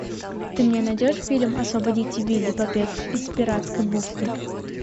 ты мне найдешь фильм освободите вилли побег из пиратской бухты